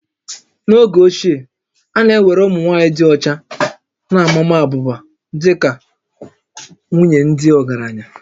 N'oge ochie, a na-ewere ụmụ nwaanyị dị ọcha na ma maa abụba dị ka nwunye ndị ọgaranya